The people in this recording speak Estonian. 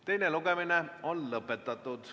Teine lugemine on lõpetatud.